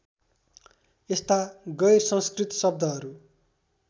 यस्ता गैरसंस्कृत शब्दहरू